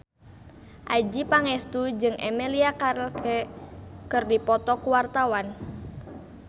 Adjie Pangestu jeung Emilia Clarke keur dipoto ku wartawan